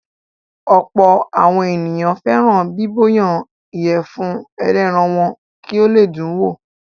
Ọ̀pọ̀ àwọn ènìyàn fẹ́ràn bíbọ̀yan ìyẹ̀fun ẹlẹ́ran wọn kì ó le dùn wò.